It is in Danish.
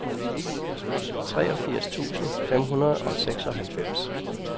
treogfirs tusind fem hundrede og seksoghalvfems